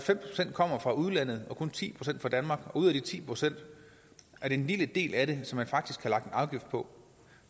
kommer fra udlandet og kun ti procent kommer fra danmark og ud af de ti procent er det en lille del af det som man faktisk har lagt en afgift på